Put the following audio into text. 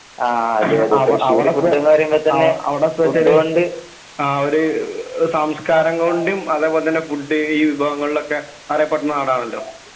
ആ അതെയതെ അവിടെ ഫുഡിന് പറയുമ്പോൾ തന്നെ അവിടെ സംസ്കാരം കൊണ്ടും ഫുഡ് ഈ വിഭവങ്ങളിലൊക്കെ അറിയപ്പെടുന്ന നാടാണല്ലോ?